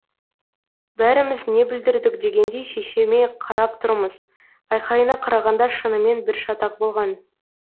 бәріміз не бүлдірдік дегендей шешеме қарап тұрмыз айқайына қарағанда шынымен бір шатақ болған